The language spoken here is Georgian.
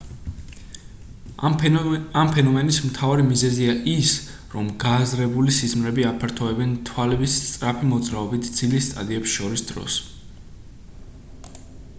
ამ ფენომენის მთავარი მიზეზია ის რომ გააზრებული სიზმრები აფართოებენ თვალების სწრაფი მოძრაობით ძილის სტადიებს შორის დროს